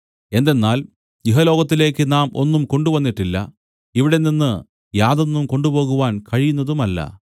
എന്തെന്നാൽ ഇഹലോകത്തിലേക്ക് നാം ഒന്നും കൊണ്ടുവന്നിട്ടില്ല ഇവിടെനിന്ന് യാതൊന്നും കൊണ്ടുപോകുവാൻ കഴിയുന്നതുമല്ല